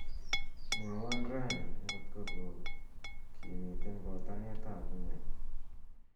mwowon raini ng'ot ko komiten botanet ab nyweng'